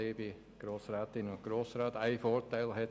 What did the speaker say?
ich muss das Pult nicht verstellen.